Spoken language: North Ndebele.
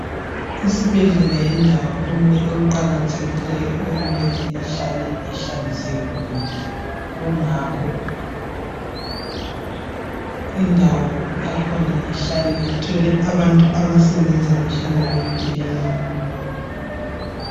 Isibhedlela yindawo eqakathekileyo emele ihlale ihlanzekile kungakho indawo yakhona ihlale ithole abantu abasebenza behlale beyikilina.